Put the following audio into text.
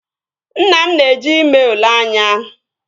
Nna m na-eje ime ule anya